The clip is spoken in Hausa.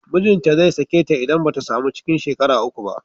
Mijinta zai sake ta idan ba ta samu cikin shekara uku ba